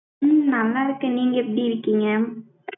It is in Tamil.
உம் நல்லா இருக்கேன், நீங்க எப்படி இருக்கீங்க?